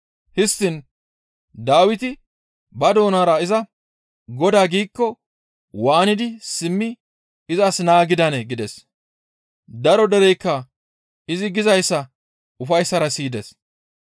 Histtiin Dawiti ba doonara iza, ‹Godaa› giikko waanidi simmi izas naa gidanee?» gides. Daro dereykka izi gizayssa ufayssara siyides.